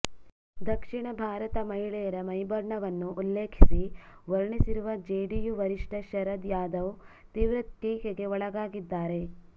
ದಕ್ಷಿಣ ಭಾರತ ಮಹಿಳೆಯರ ಮೈಬಣ್ಣವನ್ನು ಉಲ್ಲೇಖಿಸಿ ವರ್ಣಿಸಿರುವ ಜೆಡಿಯು ವರಿಷ್ಠ ಶರದ್ ಯಾದವ್ ತೀವೃ ಟೀಕೆಗೆ ಒಳಗಾಗಿದ್ದಾರೆ